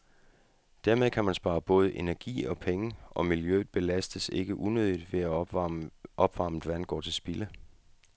Dermed kan man spare både energi og penge, og miljøet belastes ikke unødigt ved, at opvarmet vand blot går til spilde.